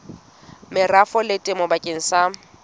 merafong le temong bakeng sa